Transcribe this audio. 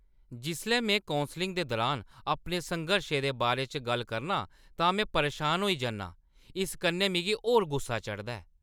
जिसलै में कौंसलिंग दे दुरान अपने संघर्शें दे बारे च गल्ल करनां तां में परेशान होई जन्नां। इस कन्नै मिगी होर गुस्सा चढ़दा ऐ।